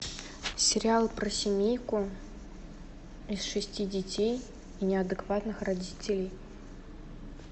сериал про семейку из шести детей и неадекватных родителей